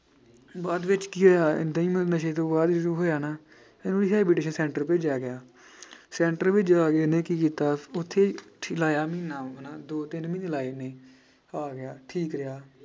ਬਾਅਦ ਵਿੱਚ ਕੀ ਹੋਇਆ ਏਦਾਂ ਹੀ ਨਸ਼ੇ ਤੋਂ ਬਾਅਦ ਹੋਇਆ ਨਾ ਇਹਨੂੰ center ਭੇਜਿਆ ਗਿਆ center ਵਿੱਚ ਜਾ ਕੇ ਇਹਨੇ ਕੀ ਕੀਤਾ ਉੱਥੇ ਲਾਇਆ ਮਹੀਨਾ ਹਨਾ ਦੋ ਤਿੰਨ ਮਹੀਨੇ ਲਾਏ ਨੇ, ਆ ਗਿਆ ਠੀਕ ਰਿਹਾ।